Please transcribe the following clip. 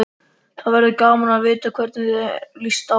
Það verður gaman að vita hvernig þér líst á.